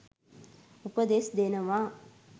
උපදෙස්‌ දෙනවා.